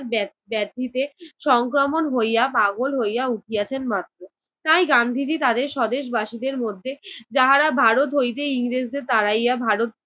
ব্যাপ~ব্যাপ্তিতে সংক্রমণ হইয়া পাগল হইয়া উঠিয়াছেন মাত্র। তাই গান্ধীজি তাদের স্বদেশ বাসিদের মধ্যে যাহারা ভারত হইতে ইংরেজদের তাড়াইয়া ভারতকে